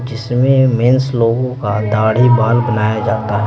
इसमें मेंस लोगों का दाढ़ी बाल बनाया जाता है।